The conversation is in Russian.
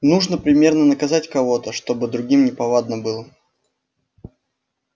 нужно примерно наказать кого-то чтобы другим неповадно было